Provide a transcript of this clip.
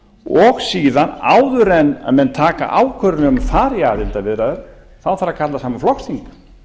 og síðan áður en menn taka ákvörðun um að fara í aðildarviðræður þarf að kalla saman flokksþing